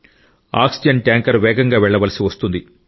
oxygen tanker వేగంగా వెళ్ళవలసి వస్తుంది